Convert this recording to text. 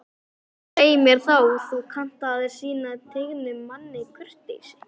Svei mér þá, þú kannt að sýna tignum manni kurteisi